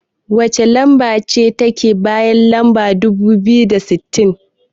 Wacce lamba ce take bayan lamba dubu biyu da sittin?